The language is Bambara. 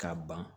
K'a ban